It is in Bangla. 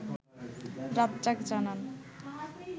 রাজ্জাক জানান